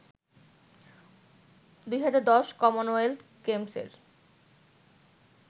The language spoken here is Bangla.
২০১০ কমনওয়েলথ গেমসের